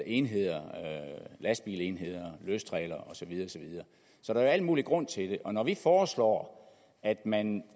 enheder lastbilenheder løstrailere og så videre så der er al mulig grund til det når vi foreslår at man